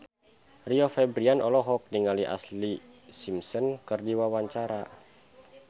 Rio Febrian olohok ningali Ashlee Simpson keur diwawancara